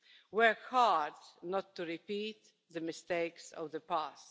Work hard not to repeat the mistakes of the past.